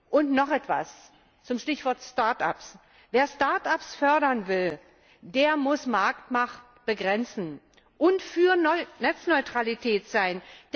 Und noch etwas zum Stichwort Start ups Wer Start ups fördern will, der muss die Marktmacht begrenzen und für Netzneutralität sein.